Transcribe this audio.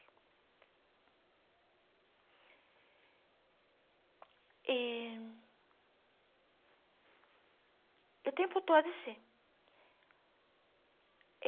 E... E o tempo todo assim.